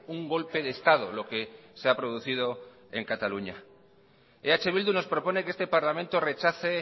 un golpe de estado lo que se ha producido en cataluña eh bildu nos propone que este parlamento rechace